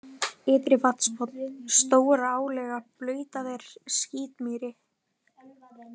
Ytri-Vatnsbotn, Stóra-Álega, Blautaver, Skítmýri